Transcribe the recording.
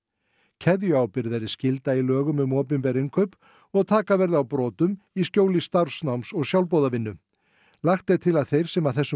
keðjuábyrgð verði skylda í lögum um opinber innkaup og taka verði á brotum í skjóli starfsnáms og sjálfboðavinnu lagt er til að þeir sem að þessum